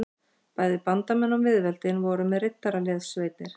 Bæði bandamenn og miðveldin voru með riddaraliðssveitir.